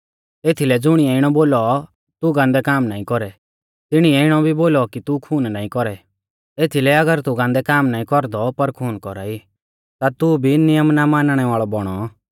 एथीलै ज़ुणिऐ इणौ बोलौ तू गान्दै काम नाईं कौरै तिणीऐ इणौ भी बोलौ कि तू खून नाईं कौरै एथीलै अगर तू गान्दै काम नाईं कौरदौ पर खून कौरा ई ता भी तू नियम ना मानणै वाल़ौ बौणौ